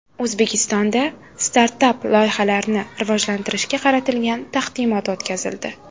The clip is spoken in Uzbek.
O‘zbekistonda startap-loyihalarni rivojlantirishga qaratilgan taqdimot o‘tkazildi.